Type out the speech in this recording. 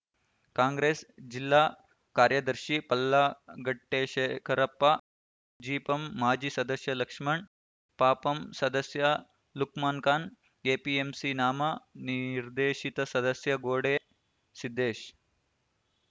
ಕಾಂಗ್ರೆಸ್‌ ಜಿಲ್ಲಾ ಕಾರ್ಯದರ್ಶಿ ಪಲ್ಲಾ ಗಟ್ಟೆಶೇಖರಪ್ಪ ಜಿಪಂ ಮಾಜಿ ಸದಸ್ಯ ಲಕ್ಷ್ಮಣ್‌ ಪಪಂ ಸದಸ್ಯ ಲುಕ್ಮಾನ್‌ಖಾನ್‌ ಎಪಿಎಂಸಿ ನಾಮ ನಿರ್ದೇಶಿತ ಸದಸ್ಯ ಗೋಡೆ ಸಿದ್ದೇಶ್‌